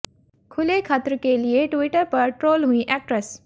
खुले खत्र के लिए ट्विटर पर ट्रोल हुईं एक्ट्रेस